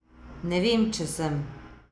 Ne vem, če sem.